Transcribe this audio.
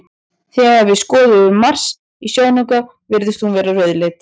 Þegar við skoðum Mars í sjónauka virðist hún vera rauðleit.